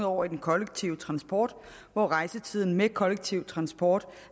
over i den kollektive transport hvor rejsetiden med kollektiv transport